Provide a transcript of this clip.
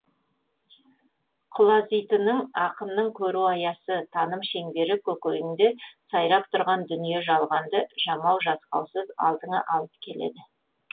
құлазитының ақынның көру аясы таным шеңбері көкейіңде сайрап тұрған дүние жалғанды жамау жасқаусыз алдыңа алып келеді